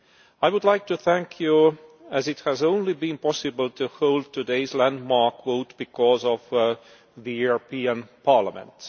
I would like to thank this House, as it has only been possible to hold today's landmark vote because of the European Parliament.